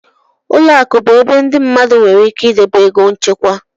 Ụlọ akụ bụ ebe ndị mmadụ nwere ike idobe ego nchekwa.